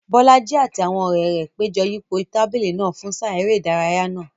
Bolaji àti àwọn ọ̀rẹ́ rẹ̀ péjọ yípo tábìlì náà fún sáà eré ìdárayá náà.